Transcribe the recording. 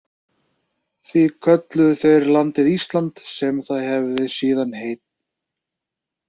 Því kölluðu þeir landið Ísland, sem það hefir síðan heitið.